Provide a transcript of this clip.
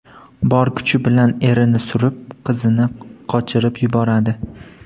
Bor kuchi bilan erini surib, qizini qochirib yuboradi.